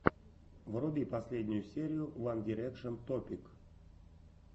вруби последнюю серию ван дирекшен топик